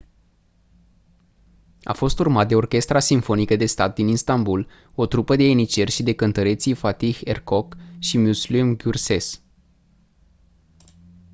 a fost urmat de orchestra simfonică de stat din istanbul o trupă de ieniceri și de cântăreții fatih erkoç și müslüm gürses